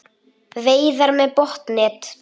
Veiðar með botnnet